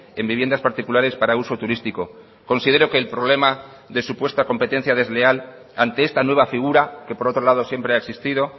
en viviendas particulares para uso turístico considero que el problema de supuesta competencia desleal ante esta nueva figura que por otro lado siempre ha existido